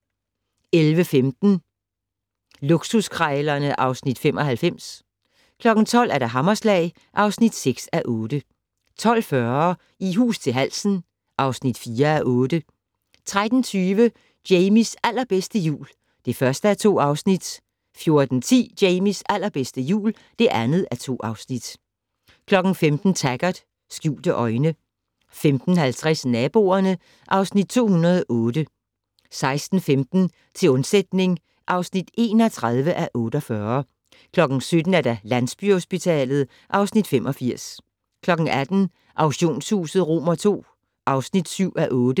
11:15: Luksuskrejlerne (Afs. 95) 12:00: Hammerslag (6:8) 12:40: I hus til halsen (4:8) 13:20: Jamies allerbedste jul (1:2) 14:10: Jamies allerbedste jul (2:2) 15:00: Taggart: Skjulte øjne 15:50: Naboerne (Afs. 208) 16:15: Til undsætning (31:48) 17:00: Landsbyhospitalet (Afs. 85) 18:00: Auktionshuset II (7:8)